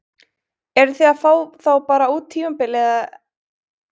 Eruð þið að fá þá bara út tímabilið eða er hugsað lengra til framtíðar?